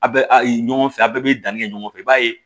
A bɛ a ye ɲɔgɔn fɛ a' bɛɛ bɛ danni kɛ ɲɔgɔn fɛ i b'a ye